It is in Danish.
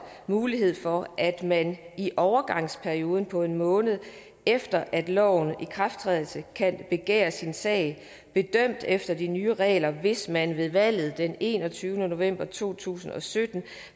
mulighed for at man i overgangsperioden på en måned efter lovens ikrafttræden kan begære sin sag bedømt efter de nye regler hvis man ved valget den enogtyvende november to tusind og sytten